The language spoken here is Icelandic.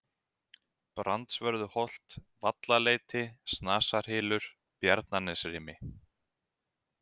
Brandsvörðuholt, Vallaleiti, Snasarhylur, Bjarnanesrimi